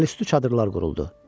Əlüstü çadırlar quruldu.